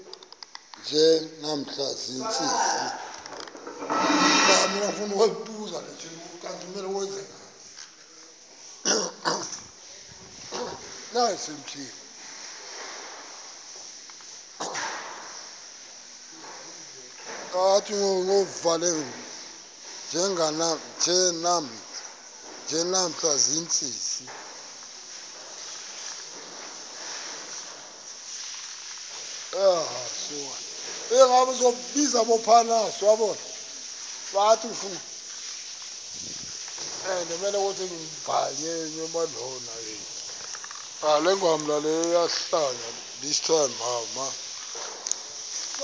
nje namhla ziintsizi